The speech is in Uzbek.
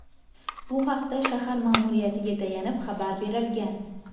Bu haqda shahar ma’muriyatiga tayanib xabar berilgan.